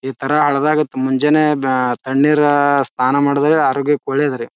ಈ ತರ ಹಲ್ದಾಗತ್ ಮುಂಜಾನೆ ಬ ತಣ್ಣೀರ ಸ್ನಾನ ಮಾಡದಾಗ ಆರೋಗ್ಯಕ್ ಒಳ್ಳೇದ್ ರೀ.